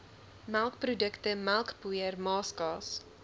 melkprodukte melkpoeier maaskaas